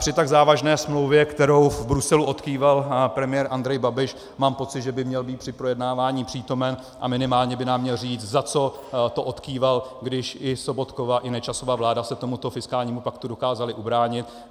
Při tak závažné smlouvě, kterou v Bruselu odkýval premiér Andrej Babiš, mám pocit, že by měl být při projednávání přítomen a minimálně by nám měl říct, za co to odkýval, když i Sobotkova i Nečasova vláda se tomuto fiskálnímu paktu dokázaly ubránit.